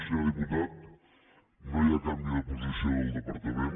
senyor diputat no hi ha canvi de posició del departament